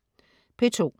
P2: